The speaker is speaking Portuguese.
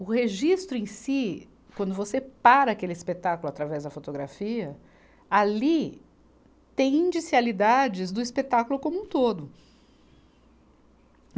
O registro em si, quando você para aquele espetáculo através da fotografia, ali tem indicialidades do espetáculo como um todo.